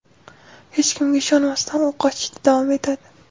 Hech kimga ishonmasdan u qochishda davom etadi.